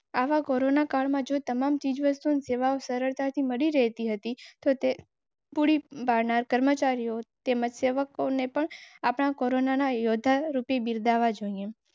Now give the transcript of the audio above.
પાણી, વિજળી, બૈંક વગેરે આવશ્યક સુવિધાઓ લોકનાથન આમાં પર બંધ નથી કારણ કે તેની સાથે જોડાયેલા કર્મચારીઓએ આવી વિષમ પરિસ્થિતિમાં પણ અવરોધ વિના કામ કરેં.